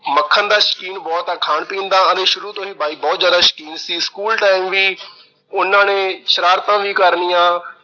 ਮੱਖਣ ਦਾ ਸ਼ੌਕੀਨ ਬਹੁਤ ਆ। ਖਾਣ-ਪੀਣ ਦਾ ਆਂਦੇ ਸ਼ੁਰੂ ਤੋਂ ਹੀ ਬਾਈ ਬਹੁਤ ਜਿਆਦਾ ਸ਼ੌਕੀਨ ਸੀ। school time ਵੀ ਉਹਨਾਂ ਨੇ ਸ਼ਰਾਰਤਾਂ ਵੀ ਕਰਨੀਆਂ।